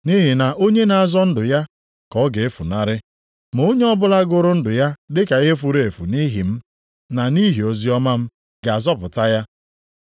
Nʼihi na onye na-azọ ndụ ya ka ọ ga-efunarị, ma onye ọbụla gụrụ ndụ ya dị ka ihe furu efu nʼihi m, na nʼihi oziọma m, ga-azọpụta ya.